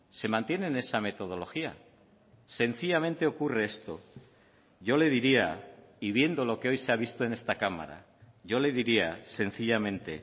se mantiene en esa metodología sencillamente ocurre esto yo le diría y viendo lo que hoy se ha visto en esta cámara yo le diría sencillamente